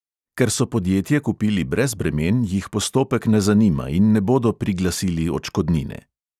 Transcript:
Ker so podjetje kupili brez bremen, jih postopek ne zanima in ne bodo priglasili odškodnine.